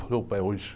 Falei, opa, é hoje.